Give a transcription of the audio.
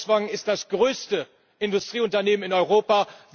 Volkswagen ist das größte Industrieunternehmen in Europa.